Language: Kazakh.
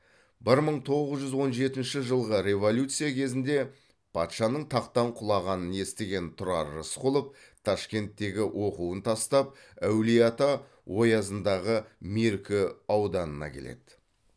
бір мың тоғыз жүз он жетінші жылғы революция кезінде патшаның тақтан құлағанын естіген тұрар рысқұлов ташкенттегі оқуын тастап әулиеата оязындағы меркі ауданына келеді